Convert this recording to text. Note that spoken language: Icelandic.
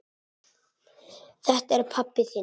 Þetta er pabbi þinn.